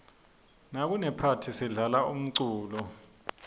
nakunephathi sidlala umculo